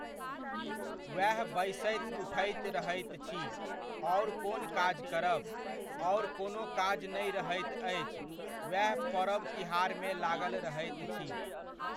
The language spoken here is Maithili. वेह बैसैत उठैत रहैत छी, आओर कोन काज करब। आओर कोनो काज नहि रहैत अछि, वेह परब तिहारमे लागल रहैत छी।